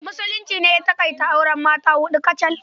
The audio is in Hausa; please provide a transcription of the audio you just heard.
Musulunci ne ya taƙaita auren mata a huɗu kacal.